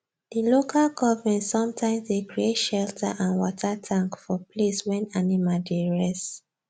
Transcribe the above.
the local government sometimes dey create shelter and water tank for place wen animal dey rest